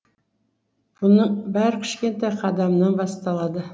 бұның бәрі кішкентай қадамнан басталады